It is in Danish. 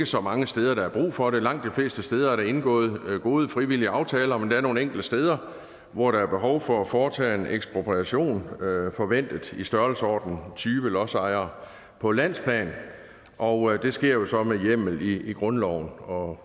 så mange steder der er brug for det langt de fleste steder er der indgået gode frivillige aftaler men der er nogle enkelte steder hvor der er behov for at foretage en ekspropriation forventet i størrelsesordenen tyve lodsejere på landsplan og det sker jo så med hjemmel i grundloven